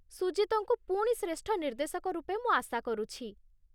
ସୁଜିତ୍‌ଙ୍କୁ ପୁଣି ଶ୍ରେଷ୍ଠ ନିର୍ଦ୍ଦେଶକ ରୂପେ ମୁଁ ଆଶା କରୁଛି।